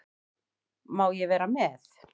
Má ég vera með?